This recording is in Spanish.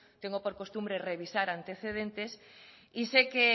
tengo por costumbre revisar antecedentes y se que